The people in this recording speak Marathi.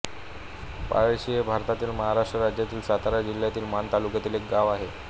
पळशी हे भारतातील महाराष्ट्र राज्यातील सातारा जिल्ह्यातील माण तालुक्यातील एक गाव आहे